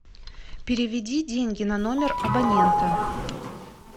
переведи деньги на номер абонента